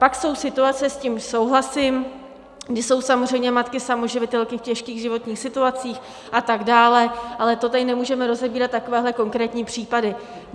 Pak jsou situace, s tím souhlasím, kdy jsou samozřejmě matky samoživitelky v těžkých životních situacích a tak dále, ale to tady nemůžeme rozebírat, takovéhle konkrétní případy.